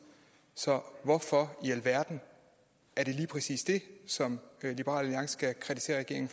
så hvorfor i alverden er det lige præcis det som liberal alliance skal kritisere regeringen